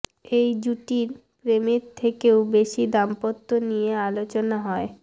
এই জুটির প্রেমের থেকেও বেশি দাম্পত্য নিয়ে আলোচনা হয়